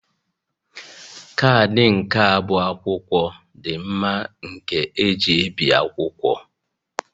Kaadị nka bụ akwụkwọ dị mma nke eji ebi akwụkwọ